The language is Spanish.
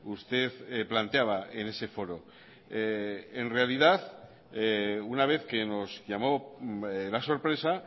usted planteaba en ese foro en realidad una vez que nos llamó la sorpresa